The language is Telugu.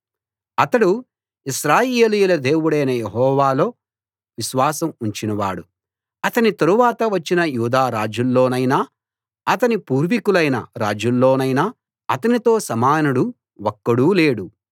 అతడు ఇశ్రాయేలీయుల దేవుడైన యెహోవాలో విశ్వాసం ఉంచినవాడు అతని తరువాత వచ్చిన యూదా రాజుల్లోనైనా అతని పూర్వికులైన రాజుల్లోనైనా అతనితో సమానుడు ఒక్కడూ లేడు